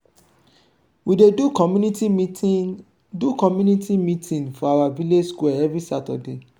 we dey do community meeting do community meeting for our village square every saturday.